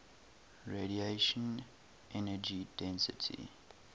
radiation energy density